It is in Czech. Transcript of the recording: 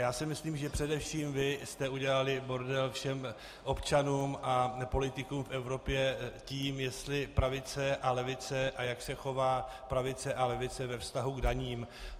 Já si myslím, že především vy jste udělali bordel všem občanům a politikům v Evropě tím, jestli pravice a levice, a jak se chová pravice a levice ve vztahu k daním.